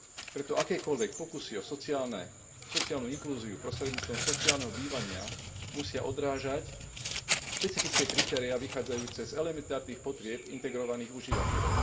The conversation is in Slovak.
Preto akékoľvek pokusy o sociálnu inklúziu prostredníctvom sociálneho bývania musia odrážať špecifické kritériá vychádzajúce z elementárnych potrieb integrovaných užívateľov.